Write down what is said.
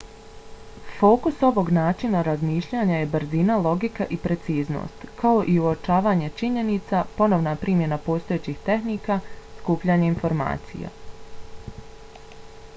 fokus ovog načina razmišljanja je brzina logika i preciznost kao i uočavanje činjenica ponovna primjena postojećih tehnika skupljanje informacija